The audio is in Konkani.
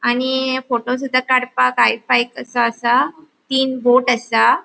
आणि फ़ोटोसुदा काड़पाक हायफाय कसो आसा तिन बोट आसा.